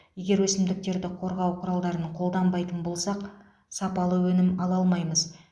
егер өсімдіктерді қорғау құралдарын қолданбайтын болсақ сапалы өнім ала алмаймыз